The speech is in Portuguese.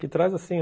Que traz assim,